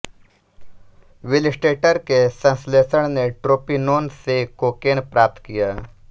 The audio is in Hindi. विलस्टेटर के संश्लेषण ने ट्रोपिनोन से कोकेन प्राप्त किया